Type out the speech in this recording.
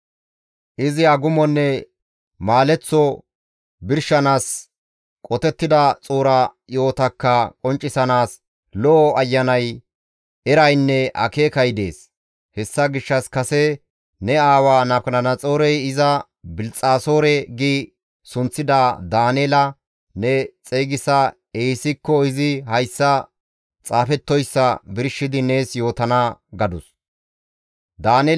Izi agumonne maaleththo birshanaasi, qotettida xuura yo7otakka qonccisanaas lo7o ayanay, eraynne akeekay dees; hessa gishshas kase ne aawa Nabukadanaxoorey iza, ‹Bilxxasoore› gi sunththida Daaneela ne xeygisa ehisikko izi hayssa xaafettoyssa birshidi nees yootana» gadus.